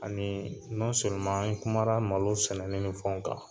Ani an kumara malo sɛnɛni ni fɛnw kan.